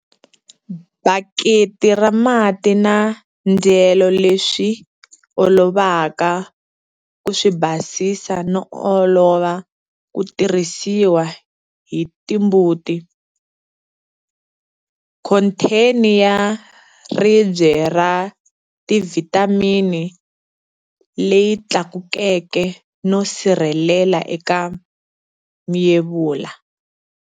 Baketi ra mati na ndyelo leswi olovaka ku swi basisa no olva ku tirhisiwa hi timbuti. Khontheni ya ribye ra tivhitamini leyi tlakukeke no sirhelela eka myevula.